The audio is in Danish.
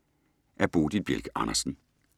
Af Bodil Bjelke Andersen